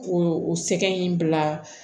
O o sɛgɛn in bila